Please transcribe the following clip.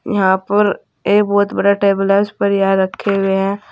यहां पर एक बहुत बड़ा टेबल है उस पर यह रखे हुए हैं।